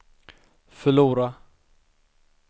förlora